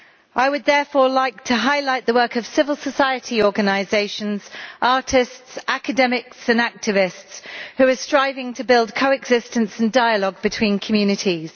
I would therefore like to highlight the work of civil society organisations, artists, academics and activists who are striving to build coexistence and dialogue between communities